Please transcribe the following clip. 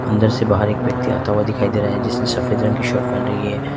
अंदर से बाहर एक व्यक्ति आता हुआ दिखाई दे रहा है जिसने सफेद रंग की शर्ट पहन रही है।